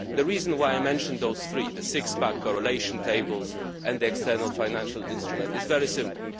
The reason why I mention those three the six pack, correlation tables and the external financial instruments is very simple.